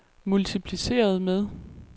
multipliceret med